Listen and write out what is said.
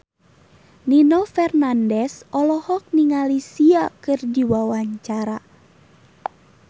Nino Fernandez olohok ningali Sia keur diwawancara